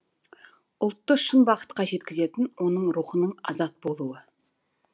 ұлтты шын бақытқа жеткізетін оның рухының азат болуы